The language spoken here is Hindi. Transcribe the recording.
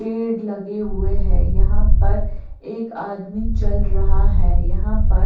पेड़ लगे हुए है यहां पर एक आदमी चल रहा है यहां पर--